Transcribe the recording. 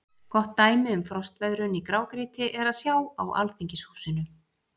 Gott dæmi um frostveðrun í grágrýti er að sjá á Alþingishúsinu.